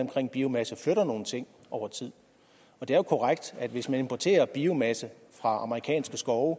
om biomasse flytter nogle ting over tid det er jo korrekt at hvis man importerer biomasse fra amerikanske skove